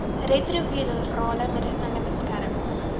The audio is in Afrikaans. retrovirale medisyne beskerm